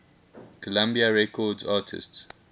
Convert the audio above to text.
columbia records artists